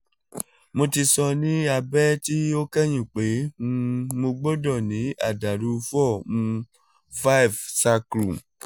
mo ti sọ ni abẹ ti o kẹhin pe um mo gbọdọ ni adalu l four um five sacrum